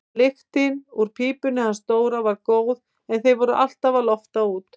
Lyktin úr pípunni hans Dóra var góð en þeir voru alltaf að lofta út.